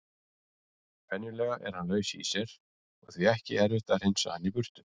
Venjulega er hann laus í sér og því ekki erfitt að hreinsa hann burtu.